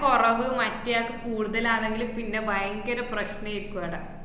കുറവ് മറ്റേയാക്ക് കൂടുതലാണെങ്കില് പിന്നെ ബയങ്കര പ്രശ്നേക്കു അവട